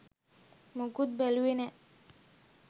මොකුත් බැලුවෙ නෑ